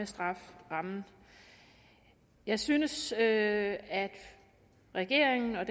strafferammen jeg synes at at regeringen og